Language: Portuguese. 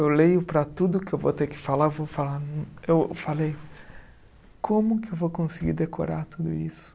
Eu leio para tudo que eu vou ter que falar, vou falar, eu falei, como que eu vou conseguir decorar tudo isso?